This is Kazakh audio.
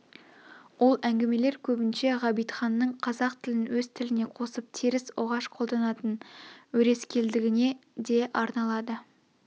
ол әңгмелер көбінше ғабитханның қазақ тілін өз тілне қосып теріс оғаш қолданатын өрескелдігіне де арналады